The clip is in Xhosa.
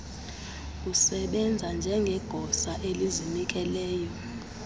usebenze njengegosa elizinikeleyo